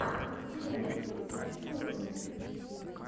у тебя найдется торнайд